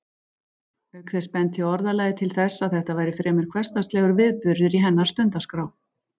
Auk þess benti orðalagið til þess að þetta væri fremur hversdagslegur viðburður í hennar stundaskrá.